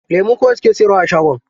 Lemu kawai suke siyarwa a shagon.